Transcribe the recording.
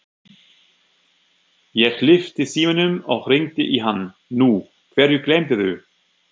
Ég lyfti símanum og hringdi í hann: Nú, hverju gleymdirðu?